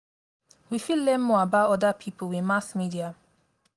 we fit learn more about oda pipo with mass media